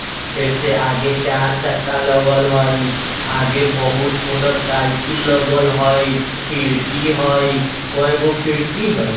फिर से आगे चार चक्का लगल हई आगे बहुत मोटर साइकिल लगल हई खिड़की हई कोय गो खिड़की हई।